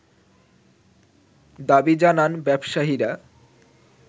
দাবি জানান ব্যবসায়ীরা